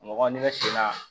Mɔgɔ n'i bɛ sen na